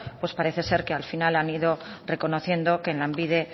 pues parece ser que al final han ido reconociendo que en lanbide